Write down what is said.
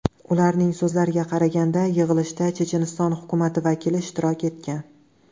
Ularning so‘zlariga qaraganda, yig‘ilishda Checheniston hukumati vakili ishtirok etgan.